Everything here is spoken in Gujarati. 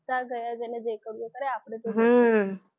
બધા ગયા જેને જે કરવું હોય એ કરે આપણે તો જઈશું